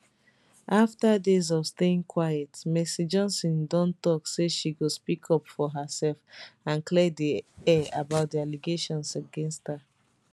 afta days of staying quiet mercy johnson don tok say she go speak up for hersef and clear di air about di allegations against her